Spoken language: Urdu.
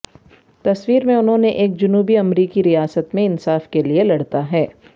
تصویر میں انہوں نے ایک جنوبی امریکی ریاست میں انصاف کے لئے لڑتا ہے